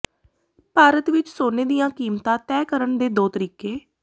ਭਾਰਤ ਵਿਚ ਸੋਨੇ ਦੀਆਂ ਕੀਮਤਾਂ ਤੈਅ ਕਰਨ ਦੇ ਦੋ ਤਰੀਕੇ